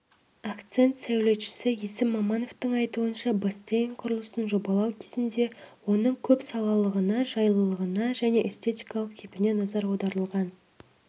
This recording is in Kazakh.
акцент сәулетшісі есім мамановтың айтуынша бассейн құрылысын жобалау кезінде оның көп салалығына жайлылығына және эстетикалық кейпіне назар аударылған